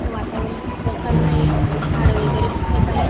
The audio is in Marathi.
तिच वातावरण प्रसन्नय आणि झाड वगैरे खूपच आहेत.